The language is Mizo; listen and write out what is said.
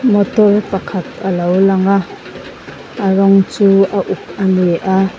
motor pakhat alo lang a a rawng chu a uk ani a.